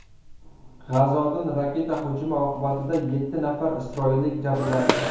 G‘azodan raketa hujumi oqibatida yetti nafar isroillik jabrlandi.